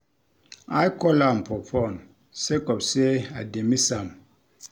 I call am for fone sake of sey I dey miss am.